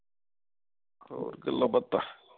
ਹੋਰ ਗੱਲਾਂ ਬਾਤਾਂ